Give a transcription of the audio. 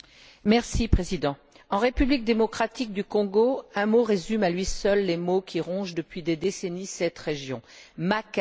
Monsieur le Président, en République démocratique du Congo, un mot résume à lui seul les maux qui rongent depuis des décennies cette région Makala!